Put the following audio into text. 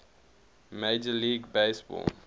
major league baseball